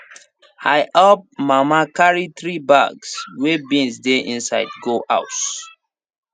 i help mama carry three bags wey beans dey inside go house